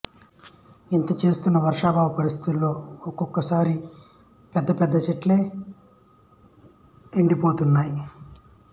ఇంతా చేస్తున్నా వర్షాబావ పరిస్థితుల్లో ఒక్కోసారి పెద్ద పెద్ద చెట్లే ఎండి పోతున్నాయి